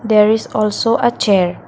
there is also uh chair.